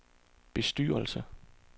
bestyrelse